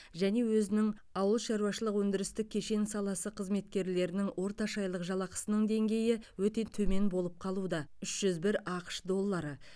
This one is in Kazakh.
және өзінің ауыл шаруашылық өндірістік кешен саласы қызметкерлерінің орташа айлық жалақысының деңгейі өте төмен болып қалуда үш жүз бір ақш доллары